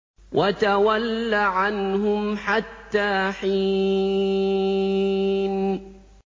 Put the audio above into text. وَتَوَلَّ عَنْهُمْ حَتَّىٰ حِينٍ